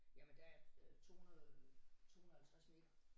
Jamen der er 200 250 meter